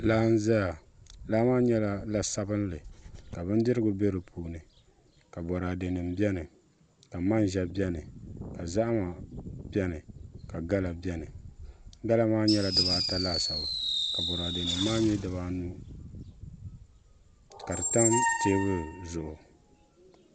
Laa n ʒɛya laa maa nyɛla la sabinli ka bindirigu bɛ di puuni ka boraadɛ nim bɛni ka manʒa bɛni ka zahama bɛni ka gala bɛni gala maa nyɛla dibata laasabu ka boraadɛ nim maa nyɛ dibaanu ka di tam teebuli zuɣu